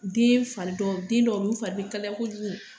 Den fari dɔ den dɔw bɛ yen u fari bɛ kalaya kojugu